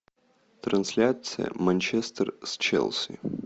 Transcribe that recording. трансляция манчестер с челси